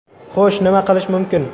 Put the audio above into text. Xo‘sh, nima qilish mumkin?